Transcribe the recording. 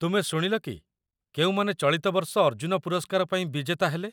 ତୁମେ ଶୁଣିଲ କି କେଉଁମାନେ ଚଳିତ ବର୍ଷ ଅର୍ଜୁନ ପୁରସ୍କାର ପାଇଁ ବିଜେତା ହେଲେ?